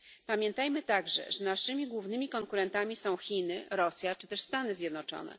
Pamiętajmy także, że naszymi głównymi konkurentami są Chiny, Rosja czy też Stany Zjednoczone.